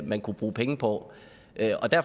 man kunne bruge penge på